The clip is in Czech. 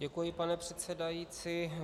Děkuji, pane předsedající.